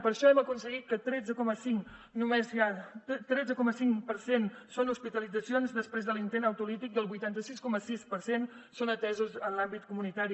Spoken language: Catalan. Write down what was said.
per això hem aconseguit que el tretze coma cinc per cent són hospitalitzacions després de l’intent autolític i el vuitanta sis coma sis per cent són atesos en l’àmbit comunitari